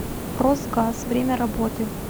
росгаз время работы